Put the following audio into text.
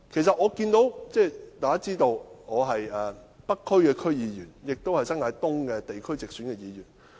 大家也知道，我是北區區議員，亦是新界東地區直選議員。